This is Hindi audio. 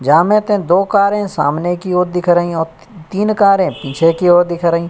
या मैं तै दो कारे सामने की ओर दिखे रही और ती तीन कारे पीछे की ओर दिख रही।